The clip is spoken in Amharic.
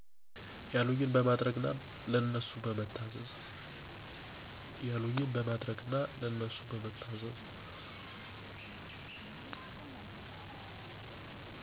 ያሉኝን በማድረግ እና ለነሱ በመታዘዝ።